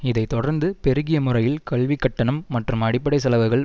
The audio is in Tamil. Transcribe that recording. இதை தொடர்ந்து பெருகிய முறையில் கல்விக் கட்டணம் மற்றும் அடிப்படை செலவுகள்